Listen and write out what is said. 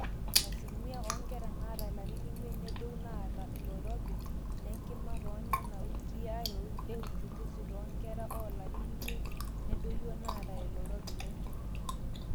asilimia oonkera naata ilarin imiet nedou naata oloirobi lenkima toonena wikii are euchungusi, too nkera oolarin imiet nedoyio naata oloirobi lenkima